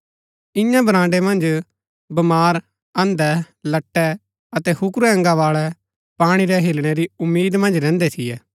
ईयां बराण्ड़ै मन्ज बमार अन्धै लट्टै अतै हुकुरै अंगा बाळै पाणी रै हिलणै री उम्मीद मन्ज रैहन्दै थियै